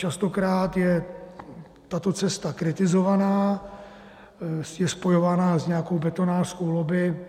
Častokrát je tato cesta kritizovaná, je spojovaná s nějakou betonářskou lobby.